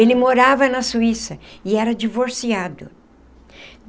Ele morava na Suíça e era divorciado.